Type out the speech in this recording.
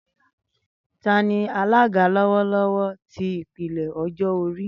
Tani alaga lọwọlọwọ ti ipele ọjọ-ori?